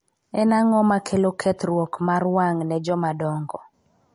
En ang'o makelo kethruok mar wang' ne joma dongo?